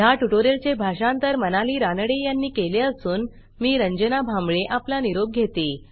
ह्या ट्युटोरियलचे भाषांतर मनाली रानडे यांनी केले असून मी रंजना भांबळे आपला निरोप घेते